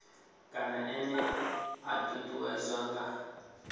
kana ene a ṱuṱuwedzwa nga